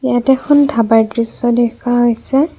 ইয়াত এখন ধাবাৰ দৃশ্য দেখা হৈছে।